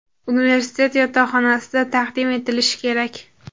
universitet yotoqxonasida taqdim etilishi kerak.